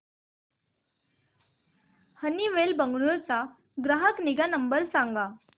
Honeywell Bengaluru चा ग्राहक निगा नंबर सांगा